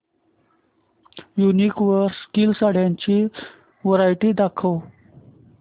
वूनिक वर सिल्क साड्यांची वरायटी दाखव